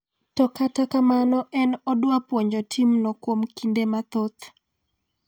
to kata kamano en odwa puonjo tim no kuom kinde mathoth